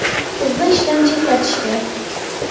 Qizni ishdan chetlatishdi.